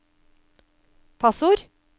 passord